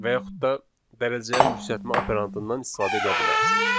və yaxud da dərəcəyə yüksəltmə operandından istifadə eləyə bilərsiniz.